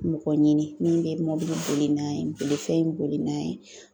Mɔgɔ ɲini min be mɔbili boli n'a ye bolifɛn boli n'a ye